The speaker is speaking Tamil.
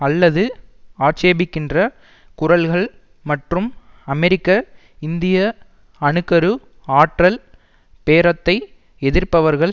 அல்லது ஆட்சேபிக்கின்ற குரல்கள் மற்றும் அமெரிக்க இந்திய அணு கரு ஆற்றல் பேரத்தை எதிர்ப்பவர்கள்